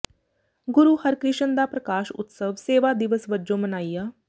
ਗੁਰੂ ਹਰਿਕ੍ਰਿਸ਼ਨ ਦਾ ਪ੍ਰਕਾਸ਼ ਉਤਸਵ ਸੇਵਾ ਦਿਵਸ ਵਜੋਂ ਮਨਾਇਆ